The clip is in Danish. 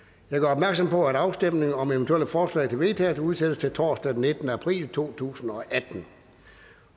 opmærksom på at afstemning om eventuelle forslag til vedtagelse udsættes til torsdag den nittende april to tusind og atten